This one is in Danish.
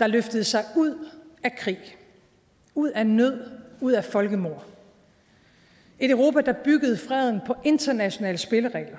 der løftede sig ud af krig ud af nød ud af folkemord et europa der byggede freden på internationale spilleregler